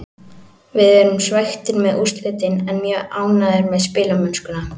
Við erum svekktir með úrslitin en mjög ánægðir með spilamennskuna.